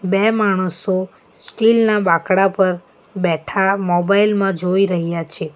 બે માણસો સ્ટીલ ના બાંકડા પર બેઠા મોબાઇલ માં જોઈ રહ્યા છે.